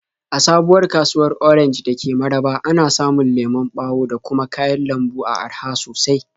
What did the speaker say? A sabuwar kasuwar Orenj da ke Mararaba, ana samun lemon ɓawo da kuma kayan lambu a araha sosai.